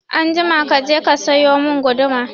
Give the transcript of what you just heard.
Anjima kaje ka sayi mun guduma